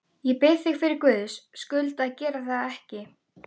Ég bið þig fyrir Guðs skuld að gera það ekki!